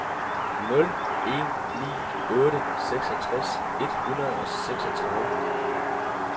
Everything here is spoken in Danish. nul en ni otte seksogtres et hundrede og seksogtredive